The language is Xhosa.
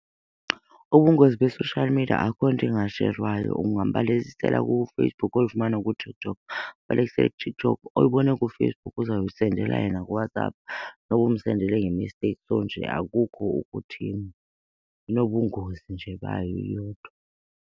Ubungozi be-social media akukho nto ingasherwayo. Ungambalekisela kuFacebook uyoyifumana kuTikTok, ubalekise kuTikTok oyibona kuFacebook, uzawuyisendela yena kuWhatsApp noba umsendele nge-mistake. So nje akukho ukuthini, inobungozi nje bayo iyodwa.